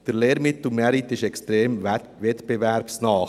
Der Lehrmittelmarkt ist extrem wettbewerbsnah.